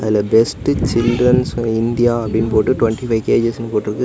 அதுல best to children's uh India அப்டின்னு போட்டு டுவெண்ட்டி ஃபைவ் கேஜிஎஸ் னு போட்ருக்கு.